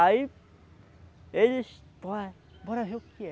Aí... Eles... Pô, bora ver o que que é.